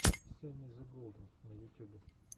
сэмми зе голден на ютюбе